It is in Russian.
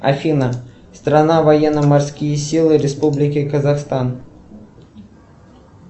афина страна военно морские силы республики казахстан